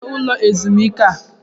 Kedu onye nwe ụlọ ezumike a?